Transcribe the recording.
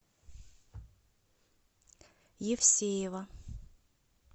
евсеева